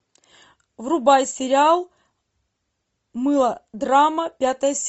врубай сериал мылодрама пятая серия